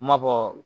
N m'a fɔ